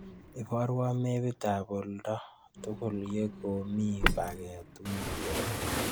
Iborwon mepittap oolndo tugul yegomii paget wiginii